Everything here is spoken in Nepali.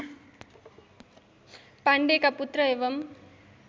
पाण्डेका पुत्र एवम्